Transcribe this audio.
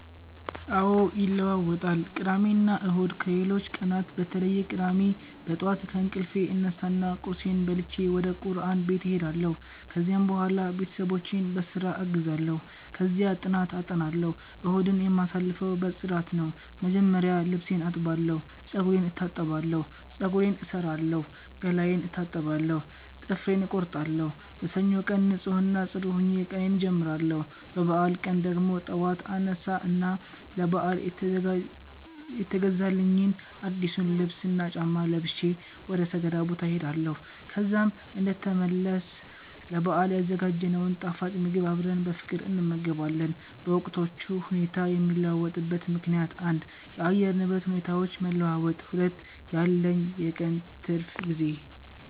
አዎ ይለዋወጣል ቅዳሜና እሁድ ከሌሎቹ ቀናት በተለየ ቅዳሜ በጠዋት ከእንቅልፌ እነሳና ቁርሴን በልቼ ወደቁርአን ቤት እሄዳለሁ፤ ከዚያም በኋላ ቤተሰቦቼን በስራ አግዛለሁ፣ ከዚያ ጥናት አጠናለሁ። እሁድን የማሳልፈው በፅዳት ነው፣ መጀመሪያ ልብሴን አጥባለሁ፤ ጸጉሬን እታጠባለሁ፤ ፀጉሬን እሠራለሁ፣ ገላዬን እታጠባለሁ፣ ጥፍሬን እቆርጣለሁ። በሰኞው ቀን ንፁህ እና ጽዱ ሆኜ ቀኔን አጀምራለሁ። በበዓል ቀን ደግሞ ጠዋት አነሳ እና ለበዓል የተገዛልኝን አዲሱን ልብስና ጫማ ለብሼ ወደ ሰገዳ ቦታ እሄዳለሁ። ከዛም እንደተመለስ ለበአል ያዘጋጀነውን ጣፋጭ ምግብ አብረን በፍቅር እንመገባለን። በወቅቶቹ ሁኔታ የሚለዋወጥበት ምከንያት 1. የአየር ንብረት ሁኔታዎች መለዋወጥ 2. ያለኝ የቀን ትርፍ ጊዜ